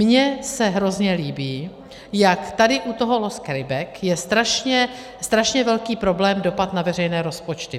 Mně se hrozně líbí, jak tady u toho loss carryback je strašně velký problém dopad na veřejné rozpočty.